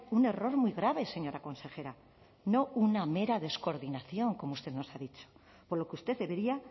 un error muy grave señora consejera no una mera descoordinación como usted nos ha dicho por lo que usted debería